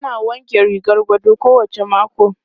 Ana wanke rigar gado kowacce mako.